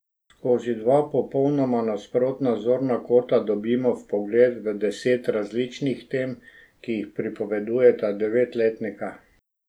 Skozi dva popolnoma nasprotna zorna kota dobimo vpogled v deset različnih tem, ki jih pripovedujeta devetletnika.